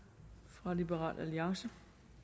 fra liberal alliance